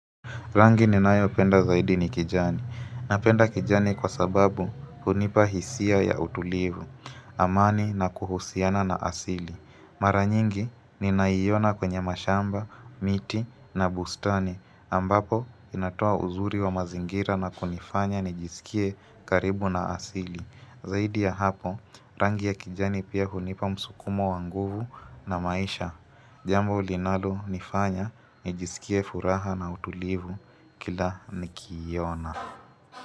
Rangi ni nayo penda zaidi ni kijani. Napenda kijani kwa sababu hunipa hisia ya utulivu, amani na kuhusiana na asili. Maranyingi ni naiona kwenye mashamba, miti na bustani ambapo inatoa uzuri wa mazingira na kunifanya nijisikie karibu na asili. Zaidi ya hapo, rangi ya kijani pia hunipa msukumo wanguvu na maisha. Jambo linalo nifanya, nijisikie furaha na utulivu kila nikiiona.